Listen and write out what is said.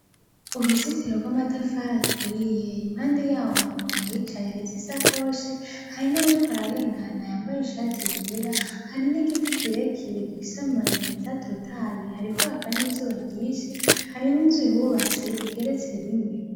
Uruzitiro rw'amatafari aturiye impande yawo hari umuntu ayicaye ariza isa koshi hari n'uwuriko ararengana yambaye ishati yera hari n'igiti kirekirega ibisamayemeza totaye hari ko hakan' izuba ryinshi hari n'inzuyubatse igeretse rimwe.